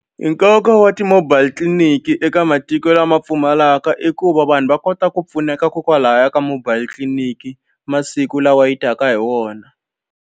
Nkoka wa ti-mobile clinic eka matiko lama pfumalaka i ku va vanhu va kota ku pfuneka ko kwalaya ka mobile tliliniki masiku lawa ya taka hi wona.